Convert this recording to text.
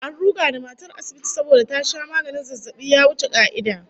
An ruga da matar asibiti saboda ta sha maganin zazzabi ya wuce ka'ida